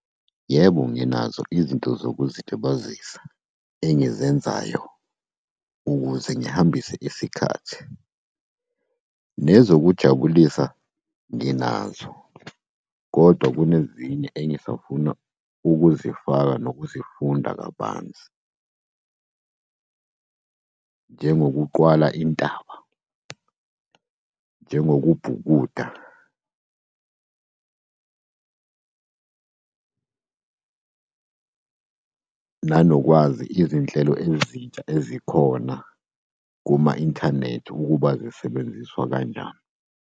Yebo, nginazo izinto zokuzilibazisa engizenzayo, ukuze ngihambise isikhathi. Nezokujabulisa nginazo, kodwa kunezinye engisafuna ukuzifaka nokuzifunda kabanzi. Njengokuqwala intaba, njengokubhukuda. Nanokwazi izinhlelo ezintsha ezikhona kuma-inthanethi ukuba zisebenziswa kanjani.